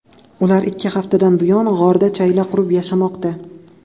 Ular ikki haftadan buyon g‘orda chayla qurib yashamoqda.